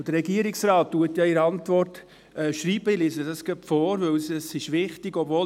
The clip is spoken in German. Der Regierungsrat schreibt in seiner Antwort, und ich lese es vor, weil es wichtig ist: